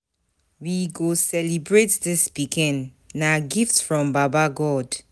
We go celebrate dis pikin, na gift from baba God.